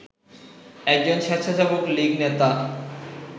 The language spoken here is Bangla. এক স্বেচ্ছাসেবক লীগ নেতা